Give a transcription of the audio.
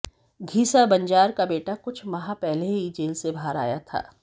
घीसा बंजार का बेटा कुछ माह पहले ही जेल से बाहर आया था